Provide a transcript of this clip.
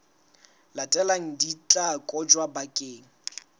latelang di tla kotjwa bakeng